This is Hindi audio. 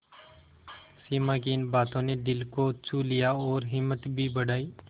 सिमा की इन बातों ने दिल को छू लिया और हिम्मत भी बढ़ाई